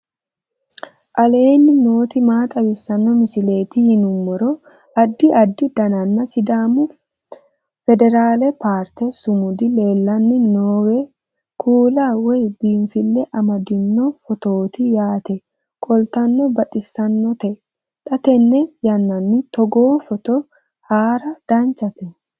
aleenni nooti maa xawisanno misileeti yinummoro addi addi dananna sidaamu federale parte sumudi leellanni nooewe kuula woy biinfille amaddino footooti yaate qoltenno baxissannote xa tenne yannanni togoo footo haara danchate